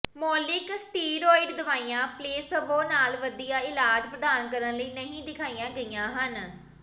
ਮੌਲਿਕ ਸਟੀਰੌਇਡ ਦਵਾਈਆਂ ਪਲੇਸਬੋ ਨਾਲ ਵਧੀਆ ਇਲਾਜ ਪ੍ਰਦਾਨ ਕਰਨ ਲਈ ਨਹੀਂ ਦਿਖਾਈਆਂ ਗਈਆਂ ਹਨ